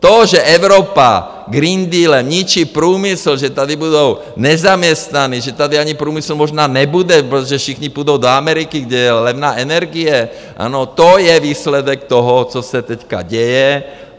To, že Evropa Green Dealem ničí průmysl, že tady budou nezaměstnaní, že tady ani průmysl možná nebude, protože všichni půjdou do Ameriky, kde je levná energie, ano, to je výsledek toho, co se teď děje.